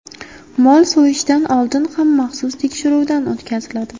Mol so‘yishdan oldin ham maxsus tekshiruvdan o‘tkaziladi.